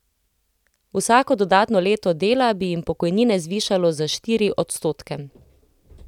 Vsako dodatno leto dela bi jim pokojnine zvišalo za štiri odstotke.